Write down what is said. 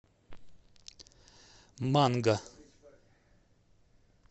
манго